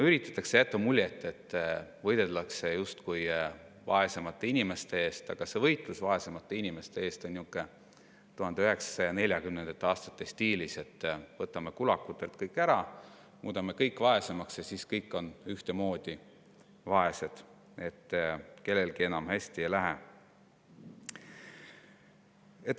Üritatakse jätta muljet, et justkui võideldakse vaesemate inimeste eest, aga see võitlus vaesemate inimeste eest on niisugune 1940. aastate stiilis, et võtame kulakutelt kõik ära, muudame kõik vaesemaks ja siis on kõik ühtemoodi vaesed, kellelgi enam hästi ei lähe.